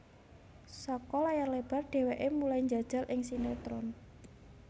Saka layar lebar dheweke mulai njajal ing sinetron